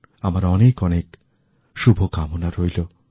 আমার অনেকঅনেক শুভকামনা রইল